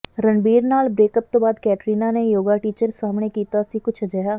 ਰਣਬੀਰ ਨਾਲ ਬ੍ਰੇਕਅਪ ਤੋਂ ਬਾਅਦ ਕੈਟਰੀਨਾ ਨੇ ਯੋਗਾ ਟੀਚਰ ਸਾਹਮਣੇ ਕੀਤਾ ਸੀ ਕੁਝ ਅਜਿਹਾ